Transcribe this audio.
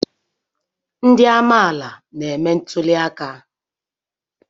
Ndị amaala na-eme ntuli aka.